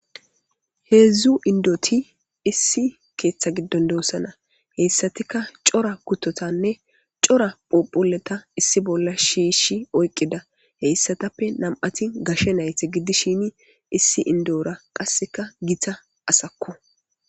Hedzdzuu indoti issi keeththa giddon doossana heyssatika cora kutotanne cora phuphuleta issi bolla shiishi oyqqida heyssatappe nam7ati gashe nayte giddi shini issi indo7ora qasseka gita asakko.